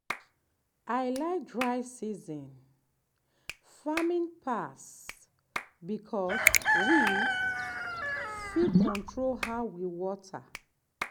i like dry season farming pass because we fit control how we water.